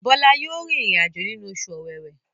Bola yóò rìn irin-ajo nínú Oṣù Ọ̀wẹwẹ.